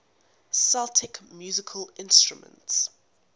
celtic musical instruments